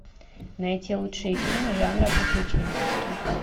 найти лучшие фильмы жанра приключенческий